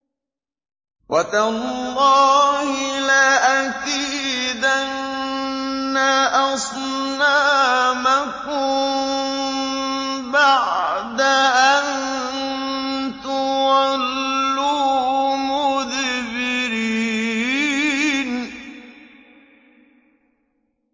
وَتَاللَّهِ لَأَكِيدَنَّ أَصْنَامَكُم بَعْدَ أَن تُوَلُّوا مُدْبِرِينَ